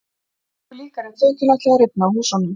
Það var engu líkara en þökin ætluðu að rifna af húsunum.